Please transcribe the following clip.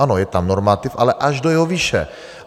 Ano, je tam normativ, ale až do jeho výše.